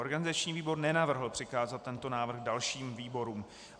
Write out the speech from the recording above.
Organizační výbor nenavrhl přikázat tento návrh dalším výborům.